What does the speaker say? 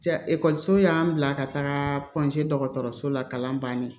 Ja ekɔliso y'an bila ka taga dɔgɔtɔrɔso la kalan bannen